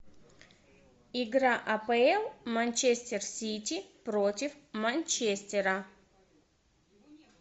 игра апл манчестер сити против манчестера